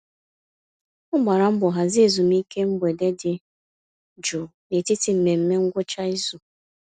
Ọ gbara mbọ hazie ezumiike mgbede dị jụụ n'etiti mmemme ngwụcha izu.